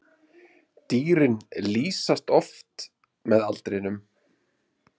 Dýrin lýsast oft með aldrinum.